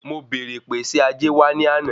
Mo bẹ̀ẹ̀rẹ̀ pé ṣe ajé wa ni ana?